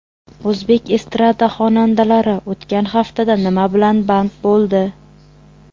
O‘zbek estrada xonandalari o‘tgan haftada nima bilan band bo‘ldi?